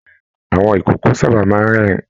Àwọn ikòkò sábà máa n rẹ́rìn